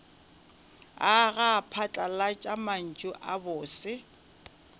aga phatlalat mantšu a bose